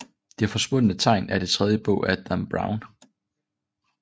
Det Forsvundne Tegn er den tredje bog af Dan Brown